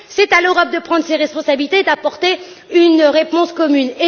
C'est à l'Europe de prendre ses responsabilités et d'apporter une réponse commune.